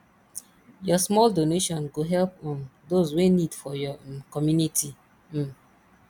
yur small donation go help um dose wey nid for yur um community um